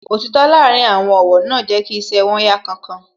Òtítọ́ láàárín àwọn ọ̀wọ́ náà jẹ́ kí iṣẹ́ wón yá kánkán